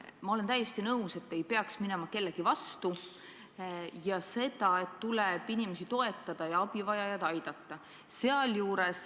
Ma olen täiesti nõus, et ei peaks minema kellegi vastu, ja olen nõus sellega, et tuleb inimesi toetada ja abivajajaid aidata.